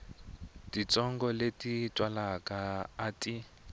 titsongo leti twalaka a ti